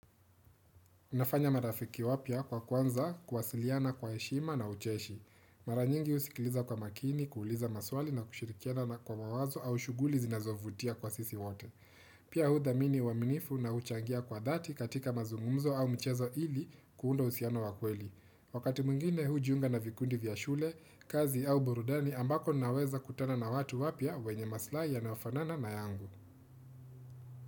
Unafanya marafiki wapya kwa kuanza, kuwasiliana kwa heshima na ucheshi. Mara nyingi husikiliza kwa makini, kuuliza maswali na kushirikiana na kwa mawazo au shughuli zinazovutia kwa sisi wote. Pia huthamini uaminifu na huchangia kwa dhati katika mazungumzo au mchezo ili kuunda uhusiana wa kweli. Wakati mwingine hujiunga na vikundi vya shule, kazi au burudani ambako naweza kutana na watu wapya wenye masilahi yanayofanana na yangu.